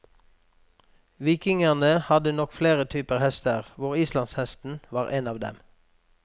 Vikingene hadde nok flere typer hester, hvor islandshesten var en av dem.